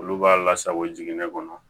Olu b'a lasago jigin ne kɔnɔ